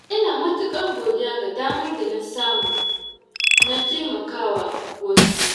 Ina matuƙar godiya ga damar da na samu na taimakawa wasu.